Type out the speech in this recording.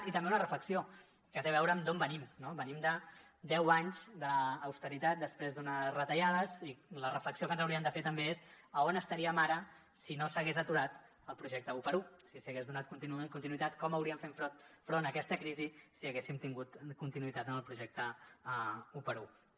i també una reflexió que té a veure amb d’on venim no venim de deu anys d’austeritat després d’una retallades i la reflexió que ens hauríem de fer també és a on estaríem ara si no s’hagués aturat el projecte 1x1 si s’hi hagués donat continuïtat com hauríem fet front a aquesta crisi si haguéssim tingut continuïtat en el projecte 1x1